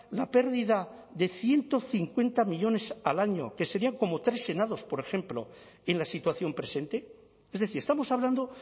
la pérdida de ciento cincuenta millónes al año que serían como tres senados por ejemplo en la situación presente es decir estamos hablando